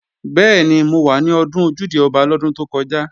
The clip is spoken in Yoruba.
Bẹ́ẹ̀ni, mo wà ní Ọdún Ojúde-Ọba lọ́dún tó kọjá